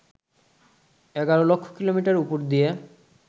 ১১ lakh kilometre উপর দিয়ে